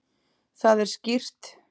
Það er skýrt.